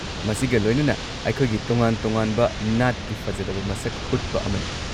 ꯃꯁꯤꯒ ꯂꯣꯏꯅꯅ, ꯑꯩꯈꯣꯏꯒꯤ ꯇꯣꯉꯥꯟ-ꯇꯣꯉꯥꯟꯕ ꯅꯥꯠꯀꯤ ꯐꯖꯔꯕ ꯃꯁꯛ ꯎꯠꯄ ꯑꯃꯅꯤ꯫